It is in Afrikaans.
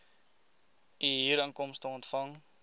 u huurinkomste ontvang